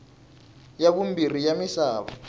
ya vumbirhi ya misava